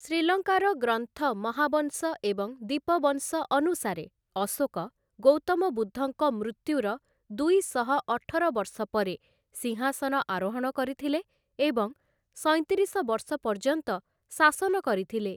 ଶ୍ରୀଲଙ୍କାର ଗ୍ରନ୍ଥ ମହାବଂଶ ଏବଂ ଦୀପବଂଶ ଅନୁସାରେ, ଅଶୋକ, ଗୌତମ ବୁଦ୍ଧଙ୍କ ମୃତ୍ୟୁର ଦୁଇଶହ ଅଠର ବର୍ଷ ପରେ ସିଂହାସନ ଆରୋହଣ କରିଥିଲେ ଏବଂ ସଇଁତିରିଶ ବର୍ଷ ପର୍ଯ୍ୟନ୍ତ ଶାସନ କରିଥିଲେ ।